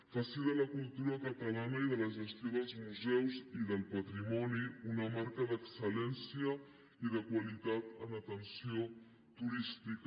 faci de la cultura catalana i de la gestió dels museus i del patrimoni una marca d’excel·atenció turística